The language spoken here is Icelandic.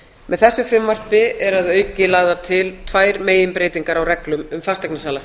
með þessu frumvarpi eru að auki lagðar til tvær meginbreytingar á reglum um fasteignasala